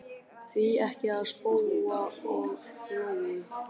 Því ekki þá spóa og lóu?